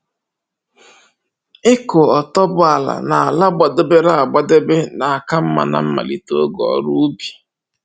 Ịkụ otuboala n'ala gbadebere agbadebe na-aka mma na mmalite oge ọrụ ubi